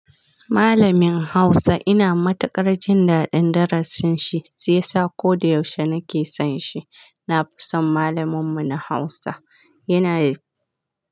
Malamin Hausa ina matuƙar jin daɗin darasin shi, si yasa ko da yaushe nake son shi. Na fi son malamin mu na Hausa. Yana.